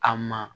A ma